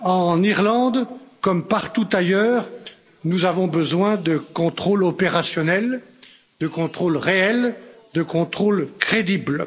En Irlande, comme partout ailleurs, nous avons besoin de contrôles opérationnels, de contrôles réels, de contrôles crédibles.